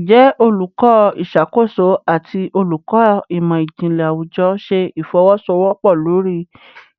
Njẹ Oluko Iṣakoso ati Oluko Imọ-jinlẹ Awujọ ṣe ifowosowopo lori